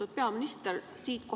Lugupeetud peaminister!